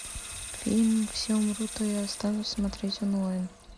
фильм все умрут а я останусь смотреть онлайн